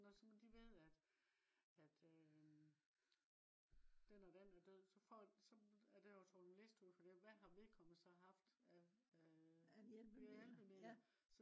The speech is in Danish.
nå så de ved at øh den og den er død så får så er der jo trykket en liste ud fra det hvad har vedkommende så haft af øh hjælpemidler